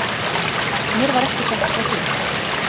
Mér var ekki sagt frá því.